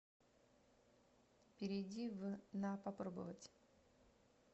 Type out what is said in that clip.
перейди в на попробовать